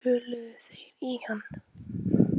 Töluðu þeir í hann?